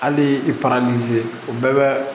Hali i paran nizeri o bɛɛ bɛ